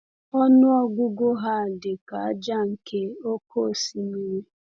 Ọnụ ọgụgụ ha dị ka ájá nke oké osimiri.